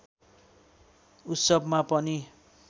उत्सवमा पनि